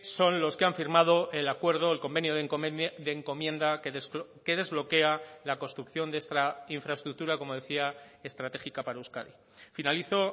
son los que han firmado el acuerdo el convenio de encomienda que desbloquea la construcción de esta infraestructura como decía estratégica para euskadi finalizo